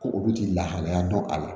Ko olu tɛ lahalaya dɔn a la